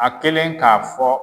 A kɛlen k'a fɔ